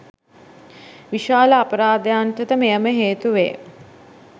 විශාල අපරාධයන්ට ද මෙයම හේතු වේ.